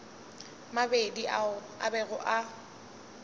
mabedi ao a bego a